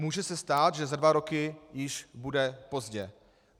Může se stát, že za dva roky již bude pozdě.